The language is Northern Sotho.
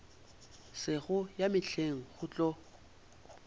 sego ya mehleng go tlo